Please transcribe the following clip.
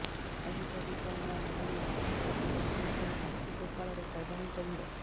ଆଜି ପବିତ୍ର ଅଁଳା ନବମୀ ରାଧାପାଦ ଦର୍ଶନ ପାଇଁ ସାକ୍ଷୀଗୋପାଳରେ ଶ୍ରଦ୍ଧାଳୁଙ୍କ ଭିଡ଼